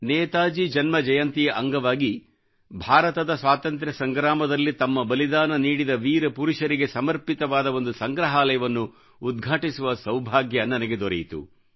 ನೇತಾಜಿ ಜನ್ಮಜಯಂತಿಯ ಅಂಗವಾಗಿ ಭಾರತದ ಸ್ವಾತಂತ್ರ ಸಂಗ್ರಾಮದಲ್ಲಿ ತಮ್ಮ ಬಲಿದಾನ ನೀಡಿದ ವೀರ ಪುರುಷರಿಗೆ ಸಮರ್ಪಿತವಾದ ಒಂದು ಸಂಗ್ರಹಾಲಯವನ್ನು ಉದ್ಘಾಟಿಸುವ ಸೌಭಾಗ್ಯ ನನಗೆ ದೊರೆಯಿತು